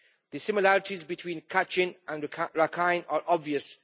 The similarities between Kachin and Rakhine are obvious.